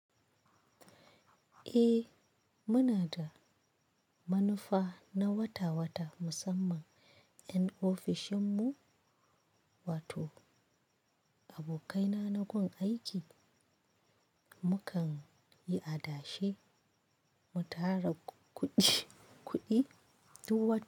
Eh muna da manufa na wata wata musamman yan ofishin mu wato abokaina na gun aiki mukan yi adashe mu tara kuɗi, kuɗi duk wata.